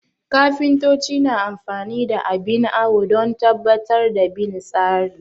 Kafintoci na amfani da abin awo don tabbatar da bin tsari